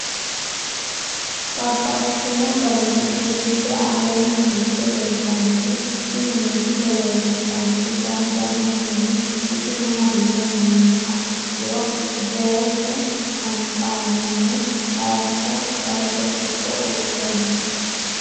Babaxxittinno garinni biiffe aleenni hige leelittannotti tinni misile lelishshanori danu danunkunni isi maattiya yinummoha ikkiro gerechu hanxxannihu hayiisso kalote giddo uurre noo.